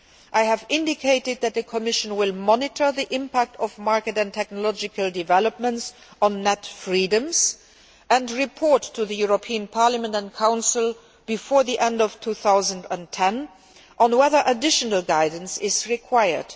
I have indicated that the Commission will monitor the impact of market and technological developments on net freedoms and report to the European Parliament and the Council before the end of 2010 on whether additional guidance is required.